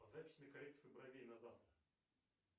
запись на коррекцию бровей на завтра